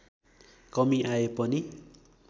कमी आए पनि